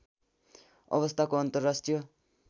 अवस्थाको अन्तर्राष्ट्रिय